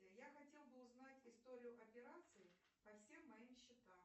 я хотела бы узнать историю операций по всем моим счетам